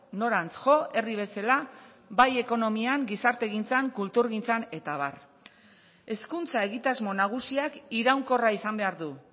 norantz jo herri bezala bai ekonomian gizartegintzan kulturgintzan eta abar hezkuntza egitasmo nagusiak iraunkorra izan behar du